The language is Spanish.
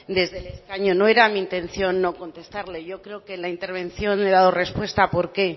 desde el escaño no era mi intención no contestarle yo creo que en la intervención le he dado respuesta a por qué